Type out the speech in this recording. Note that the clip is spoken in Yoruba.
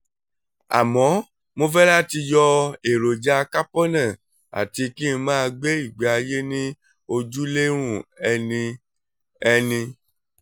àmọ́ mo fẹ́ láti yọ èròjàkápọnà àti kí n máa gbé ìgbésí ayé ní ojúlérùn ẹni ẹni